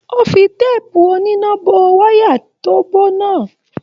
O fí teepu oníná bó wayà tó bó náà.